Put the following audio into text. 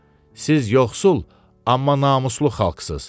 Siz yoxsul, amma namuslu xalqsız.